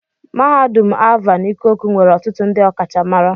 Mahadum Alvan Ikoku nwere ọtụtụ ndị ọkachamara.